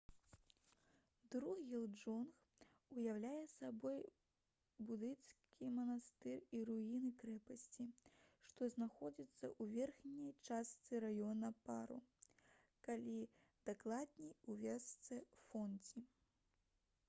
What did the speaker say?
друг'ел дзонг уяўляе сабой будысцкі манастыр і руіны крэпасці што знаходзяцца ў верхняй частцы раёна паро калі дакладней у вёсцы фондзі